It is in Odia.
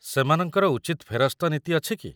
ସେମାନଙ୍କର ଉଚିତ ଫେରସ୍ତ ନୀତି ଅଛି କି?